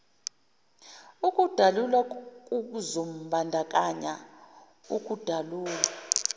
ukudalulwa kuzombandakanya ukudalulwa